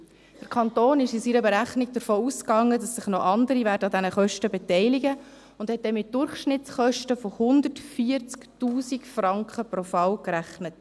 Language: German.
Der Kanton ging in seiner Berechnung davon aus, dass sich noch andere an den Kosten beteiligen werden, und hat deswegen mit Durchschnittskosten von 140 000 Franken pro Fall gerechnet.